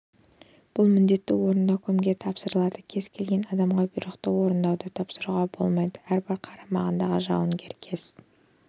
бұл міндетті орындау кімге тапсырылады кез келген адамға бұйрықты орындауды тапсыруға болмайды әрбір қарамағындағы жауынгер кез